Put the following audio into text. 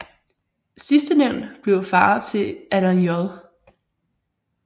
Sidstnævnte blev far til Allan J